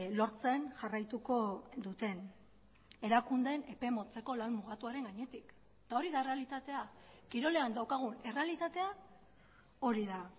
lortzen jarraituko duten erakundeen epe motzeko lan mugatuaren gainetik eta hori da errealitatea kirolean daukagun errealitatea hori da